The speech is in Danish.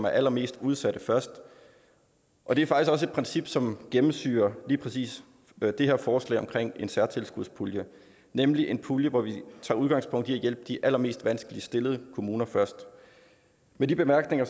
allermest udsatte og det er faktisk også et princip som gennemsyrer lige præcis det her forslag om en særtilskudspulje nemlig en pulje hvor vi tager udgangspunkt i at hjælpe de allermest vanskeligt stillede kommuner først med de bemærkninger